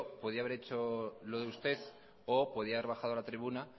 podría haber hecho lo de usted o podía haber bajado a la tribuna